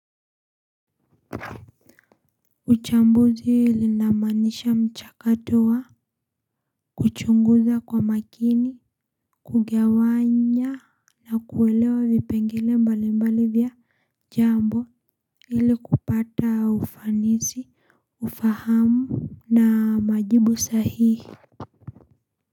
Uchambuzi linamanisha mchakato wa kuchunguza kwa makini Kugawanya Na kuelewa vipengele mbali mbali vya jambo ili kupata ufanisi Ufahamu Na majibu sahihi.